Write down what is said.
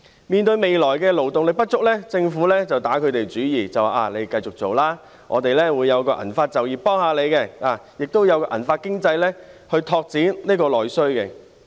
面對未來勞動力不足的問題，政府便打他們主意，叫他們繼續工作，說會推出銀髮就業措施來協助他們，並發展銀髮經濟來拓展內需。